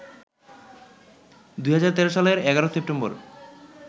২০১৩ সালের ১১ সেপ্টেম্বর